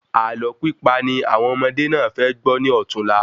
Ààlọ́ pípa ni àwọn ọmọdé náà fẹ gbọ́ ní òtunla